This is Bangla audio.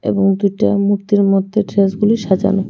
এবং দুইটা মূর্তির মধ্যে ড্রেসগুলি সাজানো .